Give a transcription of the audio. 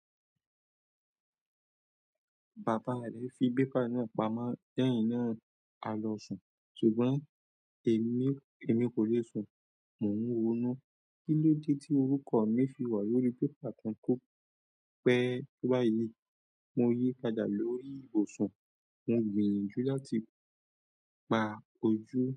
Baba rẹ̀ fi bébà náà pamọ́ lẹ́yìn náà àlọ sùn, ṣùgbọ́n èmi, èmi kò lè sùn. Mò ń ronú, kí ló dé tí orúkọ mi fi wà lórí bébà kan kó pẹ́ báyìí? Mo yí padà lórí ibùsùn, mo ń gbìyànjú láti pa ojú.